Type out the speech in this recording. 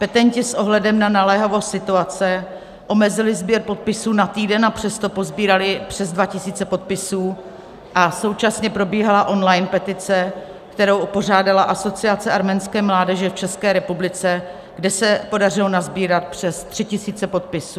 Petenti s ohledem na naléhavost situace omezili sběr podpisů na týden, a přesto posbírali přes 2 tisíce podpisů, a současně probíhala online petice, kterou pořádala Asociace arménské mládeže v České republice, kde se podařilo nasbírat přes 3 tisíce podpisů.